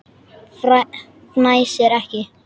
Fnæsir ekki.